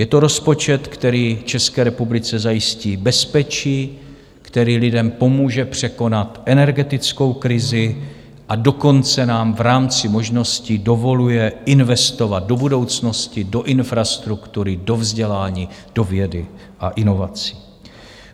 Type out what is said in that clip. Je to rozpočet, který České republice zajistí bezpečí, který lidem pomůže překonat energetickou krizi, a dokonce nám v rámci možností dovoluje investovat do budoucnosti, do infrastruktury, do vzdělání, do vědy a inovací.